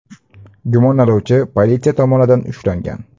Gumonlanuvchi politsiya tomonidan ushlangan.